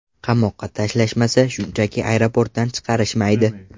Qamoqqa tashlashmasa, shunchaki aeroportdan chiqarishmaydi.